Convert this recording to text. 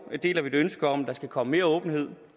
deler et ønske om at der skal komme mere åbenhed